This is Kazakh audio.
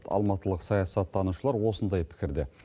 алматылық саясаттанушылар осындай пікірде